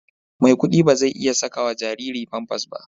Maikudi ba zai iya saka wa jariri Pampers ba.